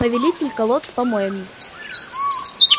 повелитель колод с помоями